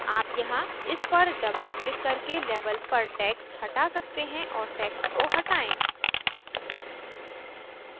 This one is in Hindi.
आप यहाँ इस पर double क्लिक करके label पर text हटा सकते हैं और text को हटाएँ